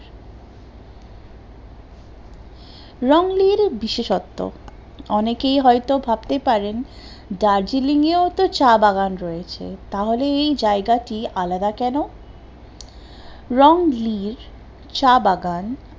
রং লির বিশেষত্ব, অনেকেই হয়তো ভাবতে পারেন দার্জিলিং এও তো চা বাগান রয়েছে, তাহলে এই জায়গা টি আলাদা কেন? রং লি চা বাগান